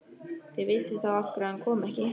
Þið vitið þá af hverju hann kom ekki.